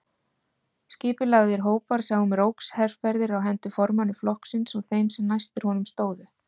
Skipulagðir hópar sáu um rógsherferðir á hendur formanni flokksins og þeim sem næstir honum stóðu.